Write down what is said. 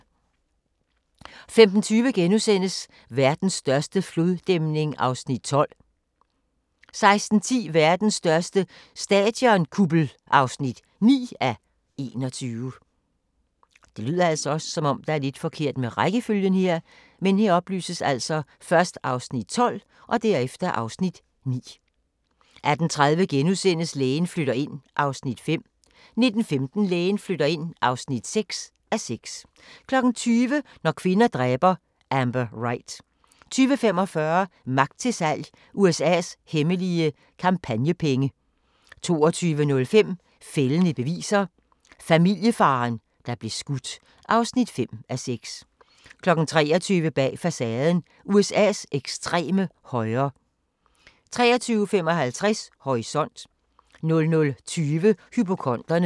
15:20: Verdens største floddæmning (12:21)* 16:10: Verdens største stadionkuppel (9:21) 18:30: Lægen flytter ind (5:6)* 19:15: Lægen flytter ind (6:6) 20:00: Når kvinder dræber – Amber Wright 20:45: Magt til salg - USA's hemmelige kampagnepenge 22:05: Fældende beviser – Familiefaren, der blev skudt (5:6) 23:00: Bag facaden: USA's ekstreme højre 23:55: Horisont 00:20: Hypokonderne